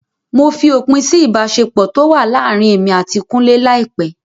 Mo fi òpin sí ìbáṣepọ̀ tó wà láàrin èmi àti kúnlé láìpẹ́.